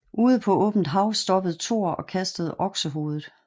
Ude på åbent hav stoppede Thor og kastede oksehovedet